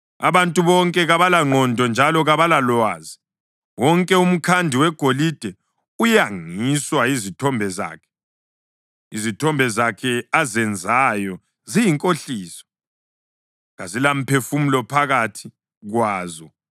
Abantu bonke kabalangqondo njalo kabalalwazi, wonke umkhandi wegolide uyangiswa yizithombe zakhe. Izithombe zakhe azenzayo ziyinkohliso, kazilamphefumulo phakathi kwazo.